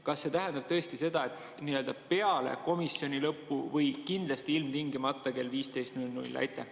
Kas see tähendab tõesti seda, et peale komisjoni lõppu või kindlasti ilmtingimata kell 15.00?